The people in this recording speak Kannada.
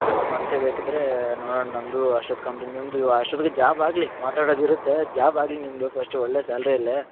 ಮತ್ತೆ ಬೇಕಿದ್ರೆ ನೋಡಣ ನಮ್ದು ಅಷ್ಟೊತ್ತಿಗೆ complete ನಿಮ್ದು ಅಷ್ಟೊತ್ತಿಗೆ job ಆಗ್ಲಿ ಮಾತಾಡದಿರುತ್ತೆ job ಆಗ್ಲಿ ನಿಮ್ಮದು first ಒಳ್ಳೆ salary ಯಲ್ಲಿ .